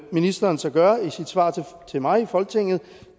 ministeren så gør i sit svar til mig i folketinget